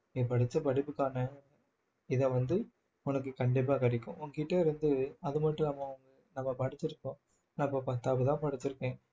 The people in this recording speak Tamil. நீ படிச்ச படிப்புக்கான இதை வந்து உனக்கு கண்டிப்பா கிடைக்கும் உன்கிட்ட இருந்து அது மட்டும் இல்லாம நம்ம படிச்சிருக்கோம் நான் இப்போ பத்தாப்புதான் படிச்சிருக்கேன்